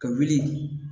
Ka wuli